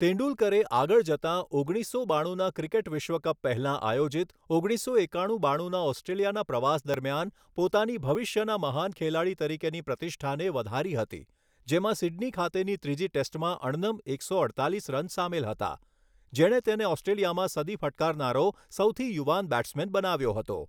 તેંડુલકરે આગળ જતા ઓગણીસો બાણુંના ક્રિકેટ વિશ્વ કપ પહેલાં આયોજિત ઓગણીસો એકાણું બાણુંના ઑસ્ટ્રેલિયાના પ્રવાસ દરમિયાન પોતાની ભવિષ્યના મહાન ખેલાડી તરીકેની પ્રતિષ્ઠાને વધારી હતી, જેમાં સિડની ખાતેની ત્રીજી ટેસ્ટમાં અણનમ એકસો અડતાલીસ રન સામેલ હતા, જેણે તેને ઑસ્ટ્રેલિયામાં સદી ફટકારનારો સૌથી યુવાન બૅટ્સમૅન બનાવ્યો હતો.